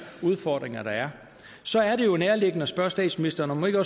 udfordringer så er det jo nærliggende at spørge statsministeren om hun ikke